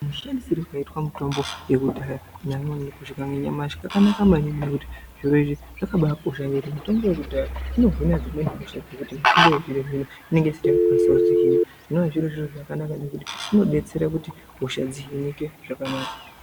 ...shandisirwo kaiitwa mitombo yekudhaya kusvika nanyamashi kakanaka maningi nekuti zviro izvi zvakabaakosha ngekuti mitombo yekudhaya inohina dzimweni hosha dzekuti mitombo yechizvino-zvino inenge isati yaakukwanisa kudzihina. Zvinova zviri zviro zvakanaka maningi nekuti inodetsera kuti hosha dzihinike zvakanaka.